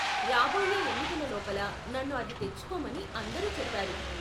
రాబోయే ఎన్నికల లోపల నన్ను అది తెచ్చుకోమని అందరూ చెప్పారు.